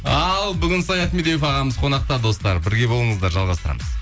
ал бүгін саят медеуов ағамыз қонақта достар бірге болыңыздар жалғастырамыз